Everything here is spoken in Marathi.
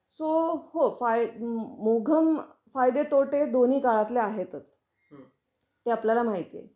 तो हो फाई मोघम फायदे तोटे दोन्ही काळातले आहेतच, ते आपल्याला माहिती आहे.